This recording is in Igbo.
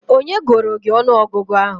Onye gụụrụ gị ọnụọgụgụ ahụ?